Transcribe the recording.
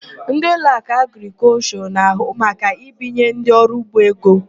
Ndị Ụlọakụ Agrịkọlshọ na-ahụ maka ibinye ndị ọrụugbo ego.